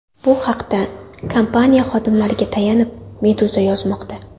Bu haqda, kompaniya xodimlariga tayanib, Meduza yozmoqda .